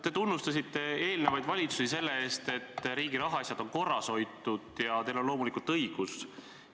Te tunnustasite eelnevaid valitsusi selle eest, et riigi rahaasjad on korras hoitud, ja teil on loomulikult õigus.